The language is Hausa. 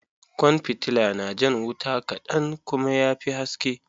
Kwan fitilla na jan wuta kaɗan kuma ya fi haske.